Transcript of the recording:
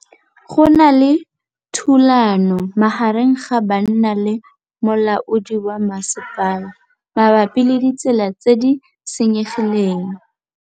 Go na le thulanô magareng ga banna le molaodi wa masepala mabapi le ditsela tse di senyegileng.